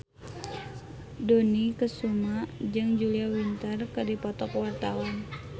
Dony Kesuma jeung Julia Winter keur dipoto ku wartawan